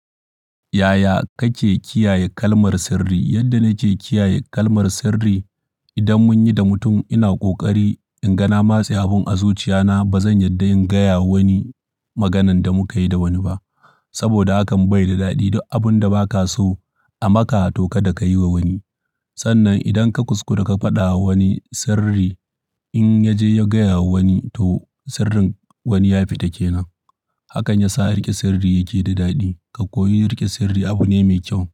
Yaya kake kiyaye kalmar sirri? Yadda nake kiyaye kalmar sirri, idan mun yi da mutum ina ƙoƙari in ga na matse abin a zuciya na. Ba zan yarda in gaya wa wani maganan da muka yi da wani ba, saboda hakan bai da daɗi. Abun da ba ka so a maka to kada ka yi wa wani. Sannan idan ka kuskura ka faɗa wa wani sirri, in ya je ya gaya wa wani, to sirrin wani ya fita ke nan. Hakan ya sa riƙe sirri yake da daɗi. Ka koyi riƙe sirri abu ne mai kyau.